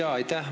Aitäh!